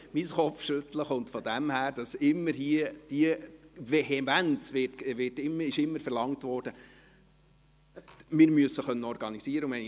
Mein Kopfschütteln rührt daher, dass hier immer mit Vehemenz verlangt wurde, man solle sich organisieren können.